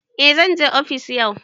A zanje ofis yau